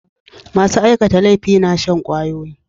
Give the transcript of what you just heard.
Masu aikata laifi na shan ƙwayoyi.